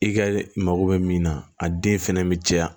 I ka mago bɛ min na a den fɛnɛ bɛ caya